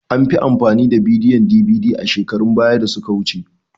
An fi amfani da bidiyon DVD a shekarun baya da suka wuce.